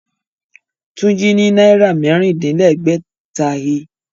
Tunji rí Náírà mẹ́rin-din-lẹ́gbẹ̀ta he